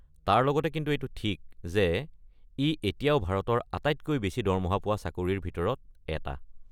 তাৰ লগতে এইটো কিন্তু ঠিক যে ই এতিয়াও ভাৰতৰ আটাইতকৈ বেছি দৰমহা পোৱা চাকৰিৰ ভিতৰত এটা।